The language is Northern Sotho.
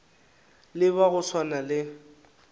le ba go swana le